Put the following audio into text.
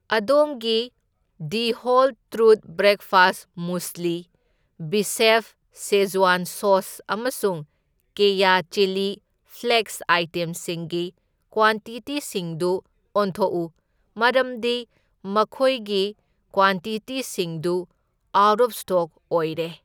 ꯑꯗꯣꯝꯒꯤ The Whole Truth breakfast muesli, ꯕꯤꯁꯦꯐ Szechuan sauce, ꯑꯃꯁꯨꯡ ꯀꯦꯌꯥ ꯆꯤꯜꯂꯤ ꯐ꯭ꯂꯦꯛꯁ ꯑꯥꯏꯇꯦꯝꯁꯤꯡꯒꯤ ꯀ꯭ꯋꯥꯟꯇꯤꯇꯤꯁꯤꯡꯗꯨ ꯑꯣꯟꯊꯣꯛꯎ, ꯃꯔꯝꯗꯤ ꯃꯈꯣꯏꯈꯤ ꯀ꯭ꯋꯥꯟꯇꯤꯇꯤꯁꯤꯡꯗꯨ ꯑꯥꯎꯠ ꯑꯣꯐ ꯁ꯭ꯇꯣꯛ ꯑꯣꯏꯔꯦ꯫